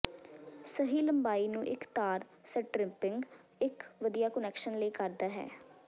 ਸਹੀ ਲੰਬਾਈ ਨੂੰ ਇੱਕ ਤਾਰ ਸਟਰਿਪਿੰਗ ਇੱਕ ਵਧੀਆ ਕੁਨੈਕਸ਼ਨ ਲਈ ਕਰਦਾ ਹੈ